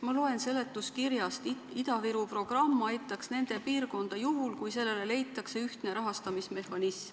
Ma loen seletuskirjast, et Ida-Viru programm aitaks piirkonda juhul, kui sellele leitaks ühtne rahastamismehhanism.